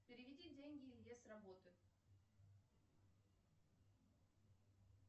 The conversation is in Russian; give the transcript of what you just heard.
переведи деньги илье с работы